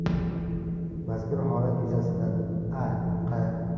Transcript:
Mazkur holat yuzasidan A.Q.